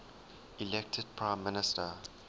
elected prime minister